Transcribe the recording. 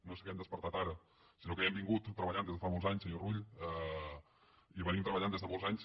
no és que ens hàgim despertat ara sinó que hi hem treballat des de fa molts anys senyor rull hi hem treballat des de molts anys